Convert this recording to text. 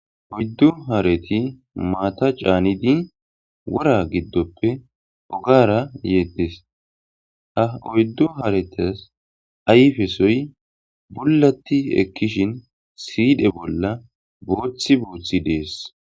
Oyddu hareti maata caanidi wora giddoppe ogara yeetdes ha oyddu haretas ayfesoy bullatti ekkishin siidhe bolla booththi booththi dees.